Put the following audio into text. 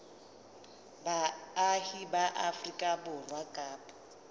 baahi ba afrika borwa kapa